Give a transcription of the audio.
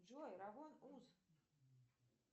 джой равон уз